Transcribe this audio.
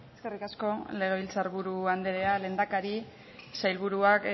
eskerrik asko legebiltzar buru andrea lehendakari sailburuak